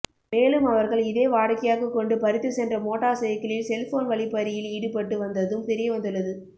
மேலும் அவர்கள் இதே வாடிக்கையாக கொண்டு பறித்து சென்ற மோட்டார் சைக்கிளில் செல்போன் வழிப்பறியில் ஈடுப்பட்டு வந்ததும் தெரியவந்துள்ளது